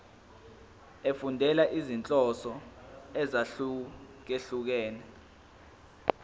efundela izinhloso ezahlukehlukene